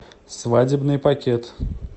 свадебный пакет